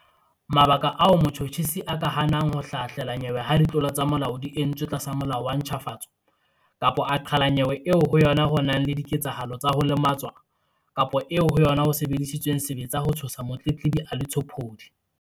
Mabaka ao motjhutjhisi a ka hanang ho ka hlahlela nyewe ha ditlolo tsa molao di entswe tlasa Molao wa ntjhafatso kapa a qhala nyewe eo ho yona ho nang le dike-tsahalo tsa ho lematswa kapa eo ho yona ho sebedisitsweng sebetsa ho tshosa motletlebi a le tshopodi.